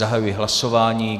Zahajuji hlasování.